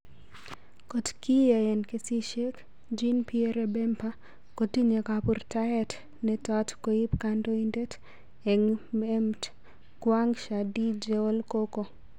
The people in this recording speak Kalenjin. Kot nekiyaen kesisiek,"Jean pierre Bemba kotinye kapurtaet netot koip kandoitet ap emt,"Kwang Shaddy jeol koko?